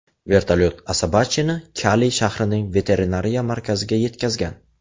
Vertolyot Asabacheni Kali shahrining veterinariya markaziga yetkazgan.